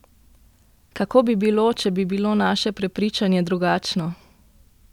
Kako bi bilo, če bi bilo naše prepričanje drugačno?